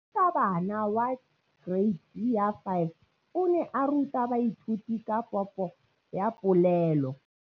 Moratabana wa kereiti ya 5 o ne a ruta baithuti ka popô ya polelô.